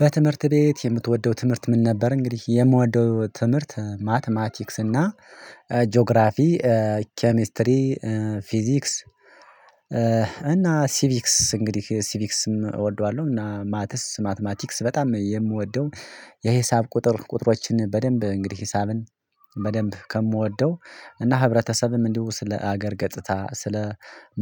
በትምህርት ቤት የምትወደው ትምህርት ምን ነበር? እንግዲህ የምወደው ትምህርት ማትማቲክስ እና ጂኦግራፊ ኬሚስትሪ ፊዚክስ እና ሲቪክስ እንግዲህ ሲቪክስም እወደዋለሁ። እና ማቲስ ማትማቲክስ በጣም የምወደው። የሂሳብ ቁጥር ቁጥሮችን በደንብ እንግዲህ ሂሳብን በደንብ ከምወደው እና ህብረተሰብም እንዲሁ ስለ ሀገር ገጽታ ስለ